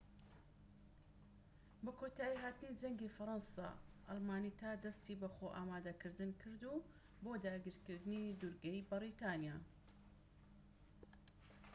بە کۆتایی هاتنی جەنگی فەرەنسا ئەڵمانیتا دەستی بە خۆ ئامادەکردن کرد بۆ داگیرکردنی دوورگەی بەریتانیا